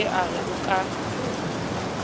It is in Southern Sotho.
ye a re o ka